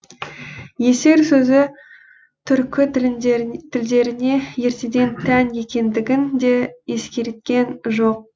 есер сөзі түркі тілдеріне ертеден тән екендігін де ескерткен жөн